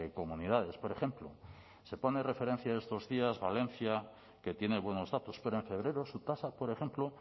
comunidades por ejemplo se pone de referencia estos días valencia que tiene buenos datos pero en febrero su tasa por ejemplo